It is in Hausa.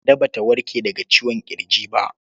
Kande Ba ta warke daga ciwon ƙirji ba.